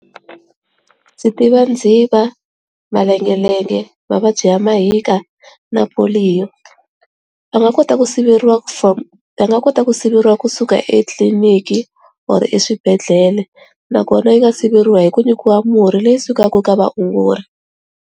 Ndzi tiva ndziva, mavengevenge, mavabyi ya mahika na va nga kota ku siveriwa from, va nga kota ku siveriwa kusuka etliliniki or eswibedhlele nakona yi nga siveriwa hi ku nyikiwa murhi leyi sukaka ka vaongori.